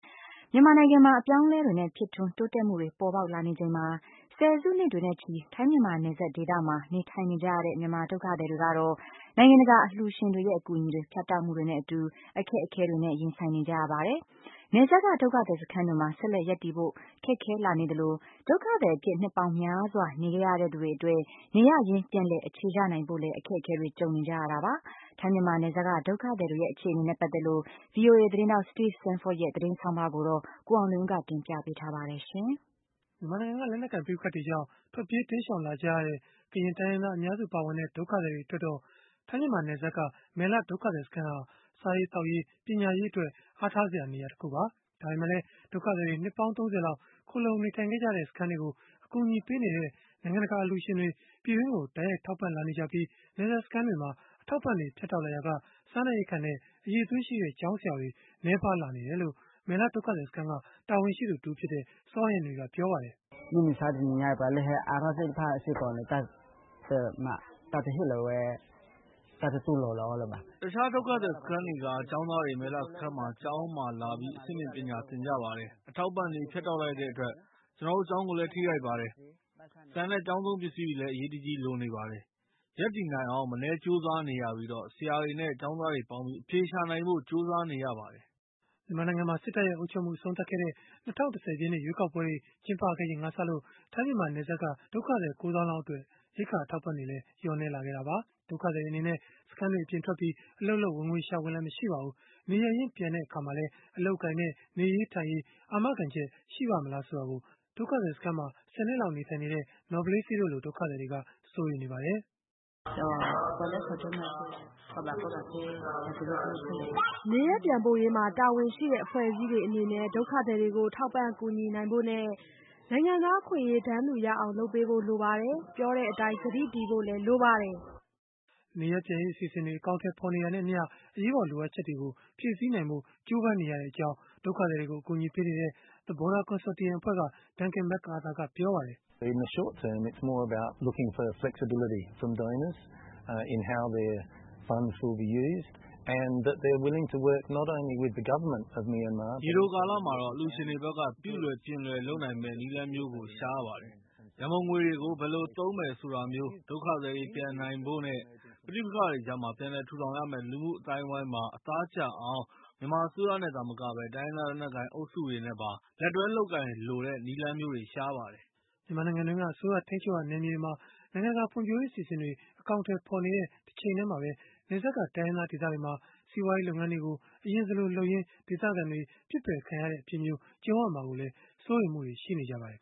မြန်မာနိုင်ငံမှာ အပြောင်းအလဲတွေနဲ့ ဖြစ်ထွန်းတိုးတက်မှုတွေ ပေါ်ပေါက်လာနေချိန်မှာပဲ၊ ဆယ်စုနှစ်တွေနဲ့ချီ ထိုင်း-မြန်မာ နယ်စပ်ဒေသမှာ နေထိုင်နေကြရတဲ့ မြန်မာဒုက္ခသည်တွေကတော့ နိုင်ငံတကာ အလှူရှင်တွေရဲ့ အကူအညီတွေ ဖြတ်တောက်မှုတွေနဲ့အတူ အခက်အခဲတွေနဲ့ ရင်ဆိုင်နေကြရပါတယ်။ နယ်စပ်က ဒုက္ခသည်စခန်းတွေမှာ ဆက်လက်ရပ်တည်ဖို့ ခက်ခဲလာနေသလို၊ ဒုက္ခသည်အဖြစ် နှစ်ပေါင်းများစွာ နေခဲ့ရတဲ့ သူတွေအတွက် နေရပ်ရင်းပြန်လည် အခြေချနေထိုင်ဖို့လည်း အခက်ခဲတွေ ကြုံနေကြရတာပါ။ ထိုင်း-မြန်မာနယ်စပ်က ဒုက္ခသည်တွေရဲ့ အခြေအနေနဲ့ ပတ်သက်လို့ ဗွီအိုအေသတင်းထောက် Steve Sandford ရဲ့ သတင်းဆောင်းပါးကိုတော့ ကိုအောင်လွင်ဦး ကတင်ပြပေးထားပါတယ်။ မြန်မာနိုင်ငံက လက်နက်ကိုင် ပဋိပက္ခတွေကြောင့် ထွက်ပြေးတိမ်းရှောင်လာကြရတဲ့ ကရင်တိုင်းရင်းသား အများစုပါဝင်တဲ့ ဒုက္ခသည်တွေ အတွက်တော့ ထိုင်း-မြန်မာနယ်စပ်က မယ်လဒုက္ခသည် စခန်းဟာ စားရေးသောက်ရေးနဲ့ ပညာရေးအတွက် အားထားစရာ နေရာတခုပါ။ ဒါပေမဲ့လည်း ဒုက္ခသည်တွေ နှစ်ပေါင်း ၃၀ လောက် ခိုလှုံနေထိုင်ခဲ့ကြတဲ့ စခန်းတွေကို အကူအညီပေးနေကြတဲ့ နိုင်ငံတကာ အလှူရှင်တွေ ပြည်တွင်းကို တိုက်ရိုက်ထောက်ပံ့လာနေကြပြီး၊ နယ်စပ်စခန်းတွေမှာ အထောက်အပံ့တွေ ဖြတ်တောက်လာရာက စားနပ်ရိက္ခာနဲ့ အရည်အသွေးရှိတဲ့ ကျောင်းဆရာတွေ နည်းပါးလာနေတယ်လို့ မယ်လဒုက္ခသည်စခန်းက တာဝန်ရှိသူတဦးဖြစ်တဲ့ စောဟန်နရီ ကပြောပါတယ်။ “တခြားဒုက္ခသည်စခန်းတွေက ကျောင်းသားတွေ မယ်လစခန်းကကျောင်းမှာလာပြီး အဆင့်မြင့်ပညာသင်ကြပါတယ်။ အထောက်အပံံ့တွေ ဖြတ်တောက်လိုက်တဲ့အတွက် ကျနော်တို့ကျောင်းကိုလည်း ထိခိုက်ပါတယ်။ ဆန်နဲ့ ကျောင်းသုံးပစ္စည်းတွေ အရေးတကြီးလိုနေပါတယ်။ ရပ်တည်နိုင်အောင် မနည်းကြိုးစားနေရပြီး၊ ဆရာတွေနဲ့ ကျောင်းသားတွေပေါင်းပြီး အဖြေရှာနိုင်ဖို့ ကြိုးစားနေရပါတယ်။” မြန်မာနိုင်ငံမှာ စစ်တပ်ရဲ့ အုပ်ချုပ်မှု အဆုံးသတ်ခဲ့တဲ့ ၂၀၁၀ ပြည့်နှစ် ရွေးကောက်ပွဲတွေ ကျင်းပခဲ့ချိန်ကစလို့ ထိုင်း-မြန်မာ နယ်စပ်က ဒုက္ခသည် ၉ သောင်းလောက်အတွက် ရိက္ခာအထောက်အပံ့တွေ လျော့နည်းလာခဲ့တာပါ။ ဒုက္ခသည်တွေ အနေနဲ့ စခန်းတွေအပြင်ထွက်ပြီး အလုပ်လုပ် ဝင်ငွေရှာခွင့်လည်း မရှိပါဘူး။ နေရပ်ရင်း ပြန်တဲ့အခါမှာလည်း အလုပ်အကိုင်နဲ့ နေရေးထိုင်ရေး အာမခံချက် ရှိပါ့မလား ဆိုတာကို ဒုက္ခသည်စခန်းမှာ ၁၀ နှစ်ကြာ နေထိုင်ခဲ့တဲ့ နော်ဘလေးဆေး တို့လို ဒုက္ခသည်တွေက စိုးရိမ်နေပါတယ်။ “နေရပ်ပြန်ပို့ရေးမှာ တာဝန်ရှိတဲ့ အဖွဲ့အစည်းတွေအနေနဲ့ ဒုက္ခသည်တွေကို ထောက်ပံ့ကူညီနိုင်ဖို့နဲ့ နိုင်ငံသားအခွင့်အရေး တန်းတူရအောင် လုပ်ပေးဖို့ လိုပါတယ်။ ပြောတဲ့အတိုင်း ကတိတည်ဖို့လည်း လိုပါတယ်။” နေရပ်ပြန်ရေး အစီအစဉ်တွေ အကောင်အထည် ဖော်နေတာနဲ့အမျှ အရေးပေါ် လိုအပ်ချက်တွေကို ဖြည့်ဆည်းနိုင်ဖို့ ကြိုးပမ်းနေတဲ့အကြောင်း ဒုက္ခသည်တွေကို အကူအညီပေးနေတဲ့ The Border Consortium အဖွဲ့က Duncan McArthur ကပြောပါတယ်။ “ရေတိုကာလမှာတော့ အလှူရှင်တွေဘက်က ပြုလွယ်ပြင်လွယ်လုပ်နိုင်မယ့် နည်းလမ်းမျိုးကို ရှာရပါတယ်။ ရန်ပုံငွေတွေကို ဘယ်လိုသုံးမယ် ဆိုတာမျိုး၊ ဒုက္ခသည်တွေ ပြန်နိုင်ဖို့နဲ့ ပဋိပက္ခတွေကြားက ပြန်လည်ထူထောင်ရတဲ့ လူမှုအသိုင်းအဝန်းမှာ အသားကျအောင် မြန်မာအစိုးရနဲ့ သာမကပဲ တိုင်းရင်းသား လက်နက်ကိုင် အုပ်စုတွေနဲ့ပါ လက်တွဲလုပ်ကိုင်လိုတဲ့ နည်းလမ်းမျိုးတွေ ရှာရပါတယ်။” မြန်မာနိုင်ငံတွင်းက အစိုးရထိန်းချုပ်ရာ နယ်မြေတွေမှာ နိုင်ငံတကာ ဖွံ့ဖြိုးရေးအစီအစဉ်တွေ အကောင်အထည် ဖော်နေတဲ့ တချိန်တည်းမှာပဲ၊ နယ်စပ်က တိုင်းရင်းသား ဒေသတွေမှာ စီးပွားရေးလုပ်ငန်းတွေကို အလျင်စလိုလုပ်ရင်း ဒေသခံတွေ ပစ်ပယ်ခံရတဲ့အဖြစ်မျိုး ကြုံရမှာကိုလည်း စိုးရိမ်မှုတွေ ရှိနေကြပါတယ်